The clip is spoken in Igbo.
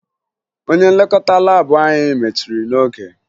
Onye nlekọta laabụ anyị mechiri n'oge